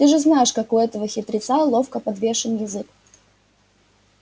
ты же знаешь как у этого хитреца ловко подвешен язык